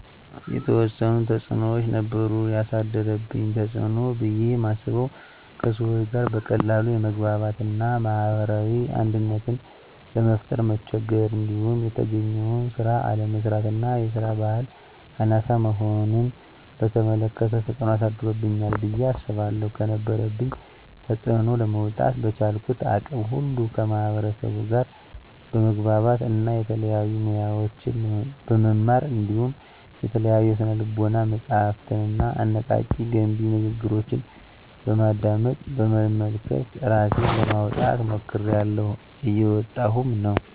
የተዎሰኑ ተፅኖዎች ነበሩ። የአሳደረብኝ ተፅኖ ብየ ማስበው:- ከሰዎች ጋር በቀላሉ የመግባባት እና ማህበራዊ አንድነትን ለመፍጠር መቸገር። እንዲሁም የተገኘውን ስራ አለመስራት እና የስራ በህል አናሳ መሆንን በተመለከተ ተፅኖ አሳድሮብኛል ብየ አስባለሁ። ከነበረብኝ ተፅኖ ለመውጣ:- በቻልኩት አቅም ሁሉ ከማህበርሰቡ ጋር በመግባባት እና የተለያዩ ሙያዎችን በመማር እንዲሁም የተለያዩ የስነ ልቦና መፀሀፍትንና አነቃ፣ ገንቢ ንግግሮችን በማድመጥ፣ በመመልከት እራሴን ለማውጣት ሞክሬላሁ። እየወጣሁም ነው።